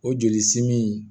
O joli simin